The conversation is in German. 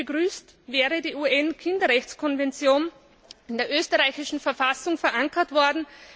Ich hätte es begrüßt, wäre die UN Kinderrechtskonvention in der österreichischen Verfassung verankert worden.